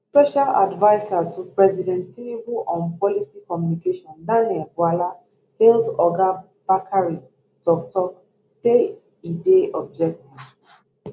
special adviser to president tinubu on policy communication daniel bwala hail oga bakare toktok say e dey objective